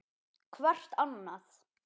Hvert annað.